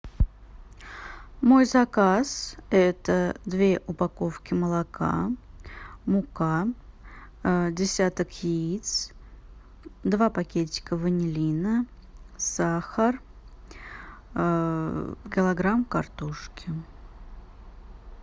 мой заказ это две упаковки молока мука десяток яиц два пакетика ванилина сахар килограмм картошки